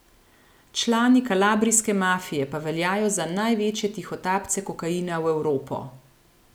Člani kalabrijske mafije pa veljajo za največje tihotapce kokaina v Evropo.